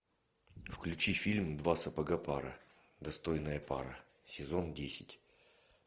включи фильм два сапога пара достойная пара сезон десять